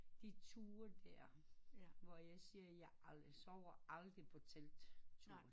De ture der hvor jeg siger jeg aldrig sover aldrig på telt tur